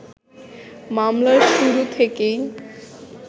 মামলার শুরু থেকেই